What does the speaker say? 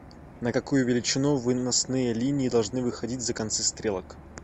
на какую величину выносные линии должны выходить за концы стрелок